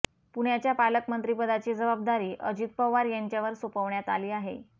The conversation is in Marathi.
पुण्याच्या पालकमंत्रीपदाची जबाबदारी अजित पवार यांच्यावर सोपवण्यात आली आहे